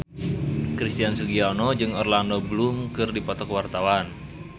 Christian Sugiono jeung Orlando Bloom keur dipoto ku wartawan